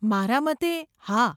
મારા મતે, હા.